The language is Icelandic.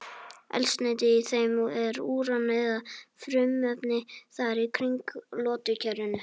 Eldsneyti í þeim er úran eða frumefni þar í kring í lotukerfinu.